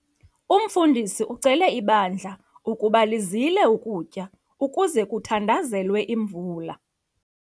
Umfundisi ucele ibandla ukuba lizile ukutya ukuze kuthandazelwe imvula.